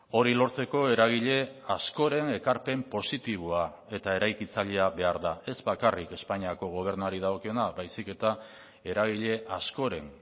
hori lortzeko eragile askoren ekarpen positiboa eta eraikitzailea behar da ez bakarrik espainiako gobernuari dagokiona baizik eta eragile askoren